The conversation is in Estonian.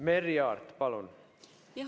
Merry Aart, palun!